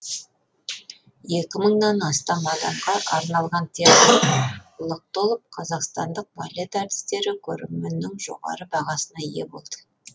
екі мыңнан астам адамға арналған театрлық толып қазақстандық балет әртістері көрерменнің жоғары бағасына ие болды